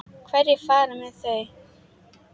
Hverjir fara með þau?